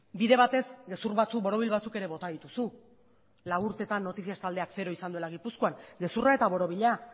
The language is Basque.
bide batez gezur batzuk borobil batzuk ere bota dituzu lau urtetan noticias taldeak zero izan duela gipuzkoan gezurra eta borobila